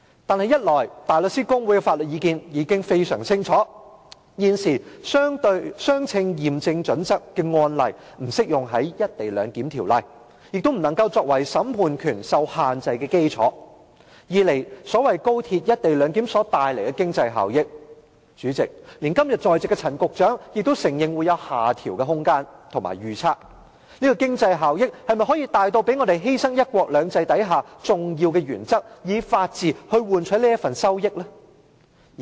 可是，一來香港大律師公會的法律意見已非常清晰，現時"相稱驗證準則"的案例不適用於《條例草案》，亦不能作為審判權受限制的基礎；二來所謂高鐵"一地兩檢"所帶來的經濟效益，連今天在席的陳局長也承認會有下調的空間和預測，這經濟效益是否大至要讓我們犧牲"一國兩制"下的重要原則，以法治來換取這份利益？